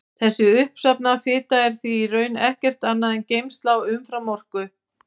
Þessi uppsafnaða fita er því í raun ekkert annað en geymsla á umframorku.